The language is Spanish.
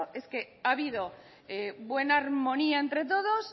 ha habido buena armonía entre todos